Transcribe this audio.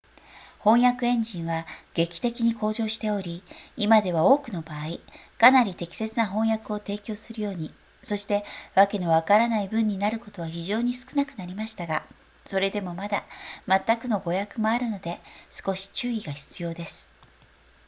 翻訳エンジンは劇的に向上しており今では多くの場合かなり適切な翻訳を提供するようにそしてわけのわからない文になることは非常に少なくなりましたがそれでもまだまったくの誤訳もあるので少し注意が必要です